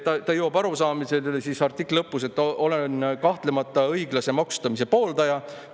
Ta jõuab artikli lõpus sellisele arusaamisele: "Olen kahtlemata õiglase maksustamise pooldaja.